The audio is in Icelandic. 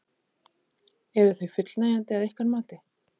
Eru þau fullnægjandi að ykkar mati?